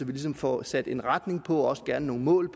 vi ligesom får sat en retning på og også gerne nogle mål